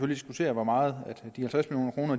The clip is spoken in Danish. diskutere hvor meget